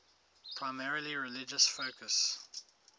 primarily religious focus